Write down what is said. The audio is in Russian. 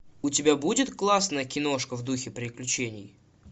у тебя будет классная киношка в духе приключений